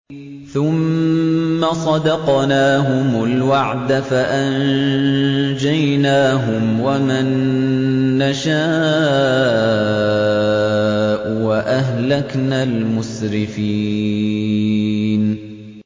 ثُمَّ صَدَقْنَاهُمُ الْوَعْدَ فَأَنجَيْنَاهُمْ وَمَن نَّشَاءُ وَأَهْلَكْنَا الْمُسْرِفِينَ